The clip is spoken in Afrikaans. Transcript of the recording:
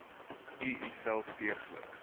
u uself deeglik